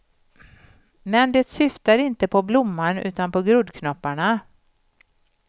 Men det syftar inte på blomman utan på groddknopparna.